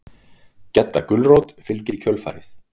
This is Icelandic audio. Gedda gulrót fylgir í kjölfarið.